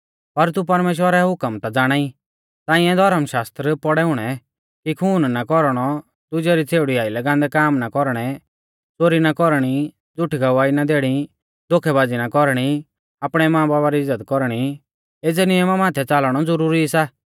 पर तू परमेश्‍वरा रै हुकम ता ज़ाणाई ताइंऐ धर्मशास्त्र पौड़ै हुणै कि खून ना कौरणौ दुजै री छ़ेउड़ी आइलै गान्दै काम ना कौरणै च़ोरी ना कौरणी झ़ुठी गवाही ना देणी धोखैबाज़ी ना कौरणी आपणै मांबाबा री इज़्ज़त कौरणी एज़ै नियमा माथै च़ालणौ ज़ुरुरी सा